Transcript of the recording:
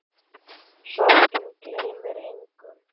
Sorgin gleymir engum.